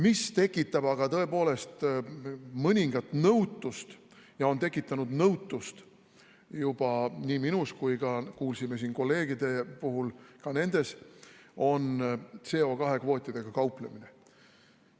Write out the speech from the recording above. Mis tekitab aga tõepoolest mõningat nõutust ja on tekitanud nõutust juba nii minus kui kuulsime siin kolleegide puhul, et ka nendes, on CO2 kvootidega kauplemine.